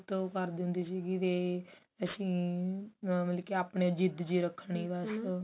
ਤੇ ਉਹ ਕਰਦੀ ਹੁੰਦੀ ਸੀਗੀ ਵੀ ਅਸੀਂ ਮਤਲਬ ਕਿ ਆਪਣੀ ਜਿੱਦ ਜੀ ਰੱਖਣੀ